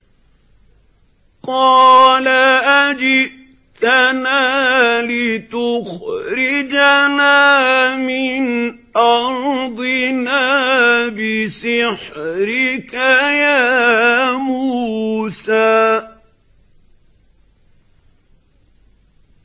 قَالَ أَجِئْتَنَا لِتُخْرِجَنَا مِنْ أَرْضِنَا بِسِحْرِكَ يَا مُوسَىٰ